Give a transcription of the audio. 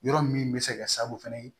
Yɔrɔ min bɛ se ka kɛ sababu fana ye